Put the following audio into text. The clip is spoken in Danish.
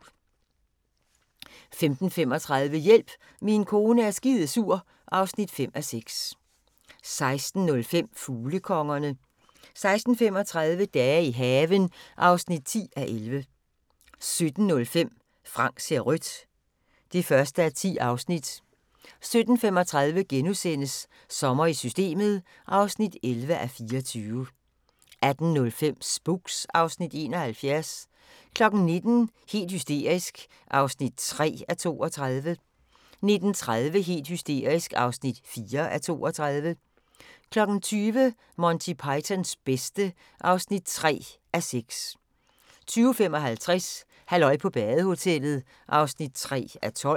15:35: Hjælp, min kone er skidesur (5:6) 16:05: Fuglekongerne 16:35: Dage i haven (10:11) 17:05: Frank ser rødt (1:10) 17:35: Sommer i Systemet (11:24)* 18:05: Spooks (Afs. 71) 19:00: Helt hysterisk (3:32) 19:30: Helt hysterisk (4:32) 20:00: Monty Pythons bedste (3:6) 20:55: Halløj på badehotellet (3:12)